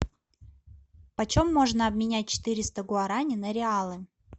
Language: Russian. почем можно обменять четыреста гуараней на реалы